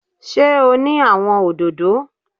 Sé o ní àwon òdòdó?